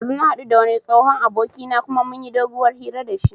Ɗazu na haɗu da wani tsohon abokina kuma mun yi doguwar hira da shi